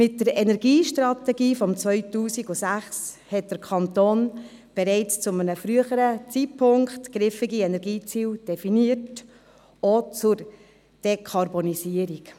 Mit der Energiestrategie aus dem Jahr 2006 hat der Kanton bereits zu einem früheren Zeitpunkt griffige Energieziele definiert, auch zur Dekarbonisierung.